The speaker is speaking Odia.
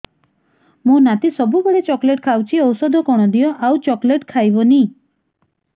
ମୋ ନାତି ସବୁବେଳେ ଚକଲେଟ ଖାଉଛି ଔଷଧ କଣ ଦିଅ ଆଉ ଚକଲେଟ ଖାଇବନି